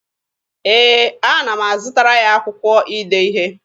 Ee, ana m azụtara ya akwụkwọ ide ihe.